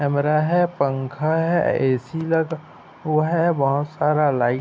कमरा है पंखा है ए. सी लगा हुआ है बहोत सारा लाइट --